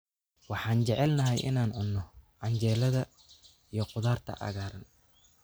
Waxaan jecelnahay inaan cunno canjeelada iyo khudaarta cagaaran.